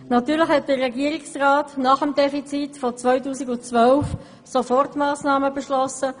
Natürlich hat der Regierungsrat nach dem Defizit 2012 Sofortmassnahmen beschlossen.